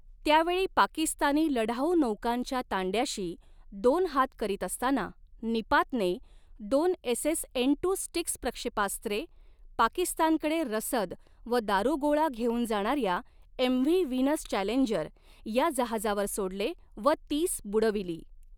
त्यावेळी पाकिस्तानी लढाऊ नौकांच्या तांड्याशी दोन हात करीत असताना निपातने दोन एसएस एन टू स्टिक्स प्रक्षेपास्त्रे पाकिस्तानकडे रसद व दारुगोळा घेऊन जाणाऱ्या एमव्ही व्हीनस चॅलेंजर या जहाजावर सोडले व तीस बुडविली.